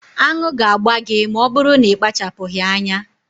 Aṅụ ga-agba gị ma ọ bụrụ na ị kpachapụghị anya